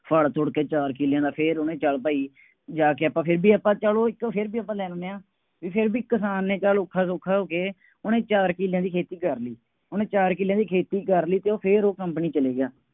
ਫੜ੍ਹ ਫੁੜ੍ਹ ਕੇ ਚਾਰ ਕਿੱਲਿਆਂ ਦਾ ਫੇਰ ਉਹਨੇ ਚੱਲ ਭਾਈ ਜਾ ਕੇ ਆਪਾਂ ਫੇਰ ਵੀ ਆਪਾਂ ਚੱਲੋ ਇੱਕ ਫੇਰ ਵੀ ਆਪਾਂ ਲੈਂਦੇ ਹਾਂ, ਫੇਰ ਵੀ ਕਿਸਾਨ ਨੇ ਚੱਲ ਔਖਾ ਸੌਖਾ ਹੋ ਕੇ ਉਹਨੇ ਚਾਰ ਕਿੱਲਿਆਂ ਦੀ ਖੇਤੀ ਕਰ ਲਈ। ਉਹਨੇ ਚਾਰ ਕਿੱਲਿਆਂ ਦਾ ਖੇਤੀ ਕਰ ਲਈ ਅਤੇ ਫੇਰ ਉਹ company ਚਲਿਆ ਗਿਆ।